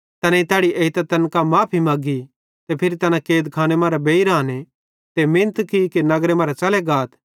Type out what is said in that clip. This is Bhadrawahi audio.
तैनेईं तैड़ी एइतां तैन करां माफ़ी मग्गी ते फिरी तैना कैदखाने मरां बेइर आने ते मिनत की कि नगर मरां च़ले गाथ